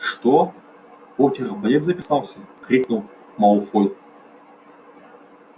что поттер в балет записался крикнул малфой